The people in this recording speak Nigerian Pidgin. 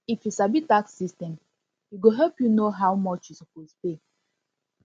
if you sabi tax system e go help you know how much you suppose pay